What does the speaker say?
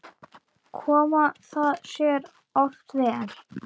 Kom það sér oft vel.